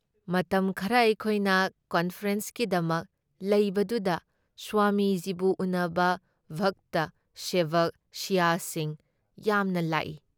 ꯃꯇꯝ ꯈꯔ ꯑꯩꯈꯣꯏꯅ ꯀꯟꯐꯔꯦꯟꯁꯀꯤꯗꯃꯛ ꯂꯩꯕꯗꯨꯗ ꯁ꯭ꯋꯥꯃꯤꯖꯤꯕꯨ ꯎꯟꯅꯕ ꯚꯛꯇ ꯁꯦꯕꯛ ꯁꯤꯁ꯭ꯌꯥꯁꯤꯡ ꯌꯥꯝꯅ ꯂꯥꯛꯏ ꯫